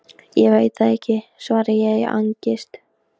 Stendur allt í einu frammi fyrir réttu hurðinni.